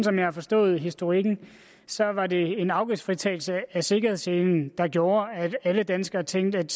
jeg har forstået historikken så var det en afgiftsfritagelse af sikkerhedsselen der gjorde at alle danskere tænkte at